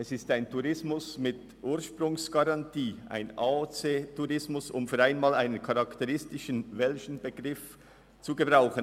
Es ist ein Tourismus mit Ursprungsgarantie, ein AOC-Tourismus, um für einmal einen welschen Begriff zu benutzen.